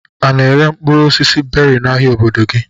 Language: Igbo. A na-ere mkpụrụ osisi beri n'ahia obodo gị?